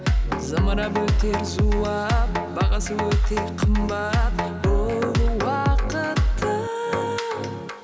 зымырап өтер зулап бағасы өте қымбат бұл уақыттың